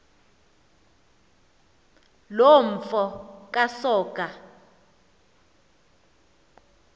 loo mfo kasoga